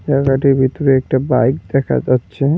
জায়গাটির ভিতরে একটা বাইক দেখা যাচ্ছে।